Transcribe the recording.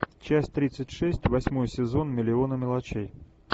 часть тридцать шесть восьмой сезон миллионы мелочей